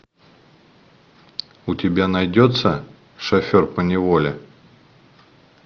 у тебя найдется шофер поневоле